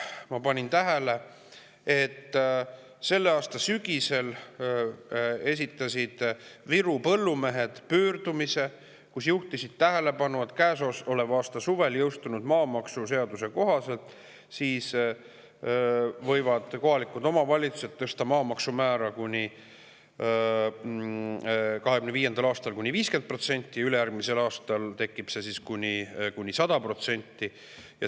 Ma panin tähele, et selle aasta sügisel tegid Virumaa põllumehed pöördumise, kus juhtisid tähelepanu, et käesoleva aasta suvel maamaksuseaduse kohaselt võivad kohalikud omavalitsused tõsta maamaksumäära 2025. aastal kuni 50% ja ülejärgmisel aastal kuni 100%.